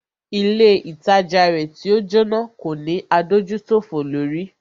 Ilé ìtajà rẹ̀ tí o Jóná kò ní adójútòfò lórí.